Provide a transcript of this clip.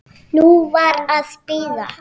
Nú var að bíða.